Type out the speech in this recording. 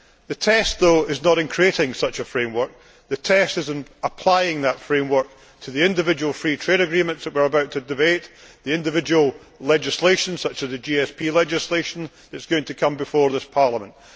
The test, however, is not in creating such a framework, the test is in applying that framework to the individual free trade agreements that we are about to debate, the individual legislation such as the GSP legislation that is going to come before this Parliament.